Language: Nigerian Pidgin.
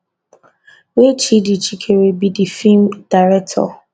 wey tchidi chikere be di feem director